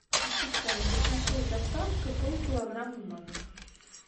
ассистент закажи с доставкой пол килограмма манго